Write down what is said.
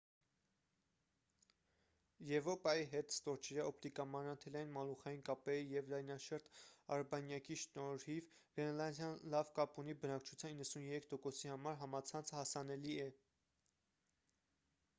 եվրոպայի հետ ստորջրյա օպտիկամանրաթելային մալուխային կապերի և լայնաշերտ արբանյակի շնորհիվ՝ գրենլանդիան լավ կապ ունի. բնակչության 93%-ի համար համացանցը հասանելի է։